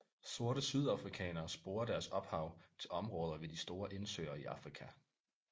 Sorte sydafrikanere sporer deres ophav til områder ved de store indsøer i Afrika